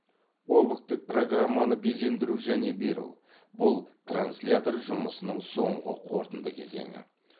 объктік программаны безендіру және беру бұл транслятор жұмысының соңғы қорытынды кезеңі